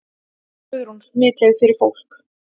Guðrún: Smitleið fyrir fólk?